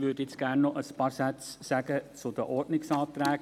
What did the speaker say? Ich würde jetzt gerne noch ein paar Sätze zu den Ordnungsanträgen sagen.